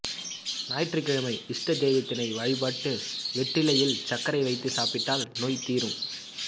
ஞாயிற்றுகிழமை இஷ்ட தெய்வத்தினை வழிபட்டு வெற்றிலையில் சர்க்கரை வைத்து சாப்பிட்டால் நோய் தீரும்